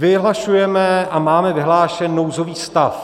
Vyhlašujeme a máme vyhlášen nouzový stav.